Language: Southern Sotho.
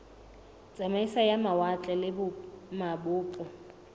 tsamaiso ya mawatle le mabopo